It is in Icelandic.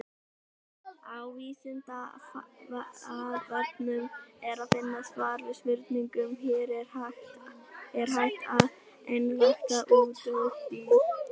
Á Vísindavefnum er að finna svar við spurningunni Er hægt að einrækta útdauð dýr?